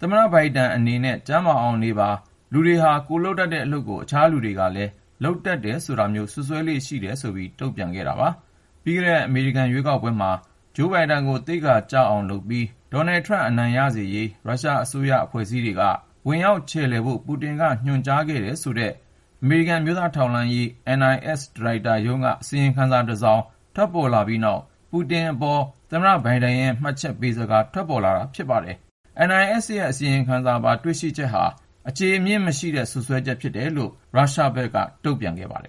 သမ္မတဘိုင်ဒန် အနေနဲ့ ကျန်းမာအောင်နေပါ ၊ လူတွေဟာ ကိုယ်လုပ်တတ်တဲ့အလုပ်ကို အခြားလူကလည်း လုပ်တယ်ဆိုတာမျိုး စွပ်စွဲလေ့ရှိတယ်ဆိုပြီး တုန့်ပြန်ခဲ့တာပါ။ ပြီးခဲ့တဲ့ အမေရိကန်ရွေးကောက်ပွဲမှာ ဂျိုးဘိုင်ဒန်ကို သိက္ခာကျအောင်လုပ်ပြီး ဒေါ်နယ်ထရမ့် အနိုင်ရ စေရေးအတွက် ရုရှားအစိုးရအဖွဲ့စည်းတွေက ဝင်ရောက်ချယ်လှယ်ဖို့ ပူတင်က ညွှန်ကြားခဲ့တယ်ဆိုတဲ့ အမေရိကန် အမျိုးသားထောက်လှမ်းရေး NIS ဒါရိုက်တာရုံးက အစီရင်ခံစာတစောင် ထွက်ပေါ်လာပြီးနောက် ပူတင်အပေါ် သမ္မတ ဘိုင်ဒန်ရဲ့ မှတ်ချက်စကား ထွက်ပေါ်လာတာ ဖြစ်ပါတယ်။ NIS ရဲ့အစီရင်ခံစာပါ တွေ့ရှိချက်တွေဟာ အခြေမြစ်မရှိတဲ့ စွပ်စွဲချက်ဖြစ်တယ်လို့ ရုရှားဘက်က တုန့်ပြန်ခဲ့ပါတယ်